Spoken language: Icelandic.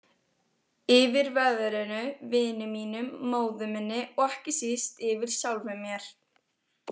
Yfir veðrinu, vinum mínum, móður minni og ekki síst yfir sjálfum mér.